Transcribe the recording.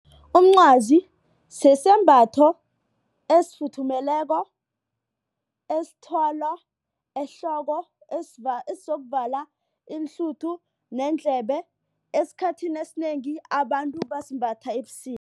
Umncwazi sisembatho esifuthumeleko esithwalwa ehloko esizokuvala iinhluthu neendlebe esikhathini esinengi abantu basimbatha ebusika.